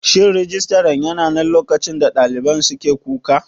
Shin Rijistaran yananan lokacin da ɗaliban suke kuka?